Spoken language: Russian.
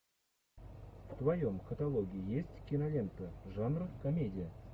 в твоем каталоге есть кинолента жанр комедия